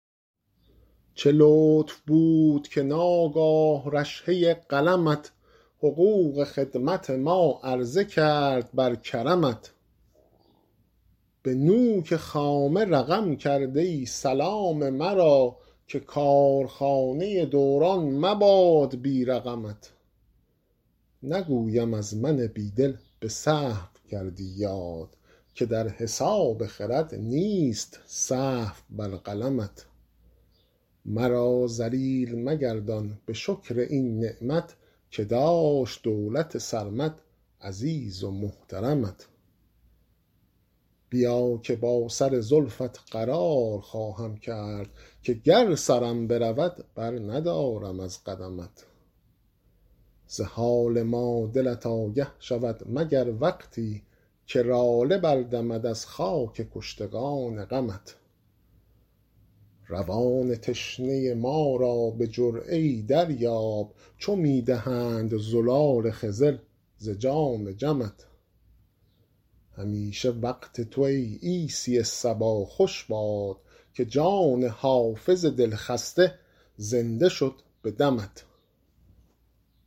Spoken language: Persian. چه لطف بود که ناگاه رشحه قلمت حقوق خدمت ما عرضه کرد بر کرمت به نوک خامه رقم کرده ای سلام مرا که کارخانه دوران مباد بی رقمت نگویم از من بی دل به سهو کردی یاد که در حساب خرد نیست سهو بر قلمت مرا ذلیل مگردان به شکر این نعمت که داشت دولت سرمد عزیز و محترمت بیا که با سر زلفت قرار خواهم کرد که گر سرم برود برندارم از قدمت ز حال ما دلت آگه شود مگر وقتی که لاله بردمد از خاک کشتگان غمت روان تشنه ما را به جرعه ای دریاب چو می دهند زلال خضر ز جام جمت همیشه وقت تو ای عیسی صبا خوش باد که جان حافظ دلخسته زنده شد به دمت